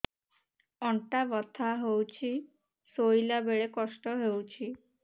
ଅଣ୍ଟା ବଥା ହଉଛି ଶୋଇଲା ବେଳେ କଷ୍ଟ ହଉଛି